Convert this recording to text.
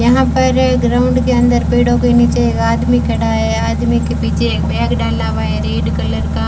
यहां पर ग्राउंड के अंदर पेड़ों के नीचे एक आदमी खड़ा है आदमी के पीछे एक बैग डाला हुआ है रेड कलर का।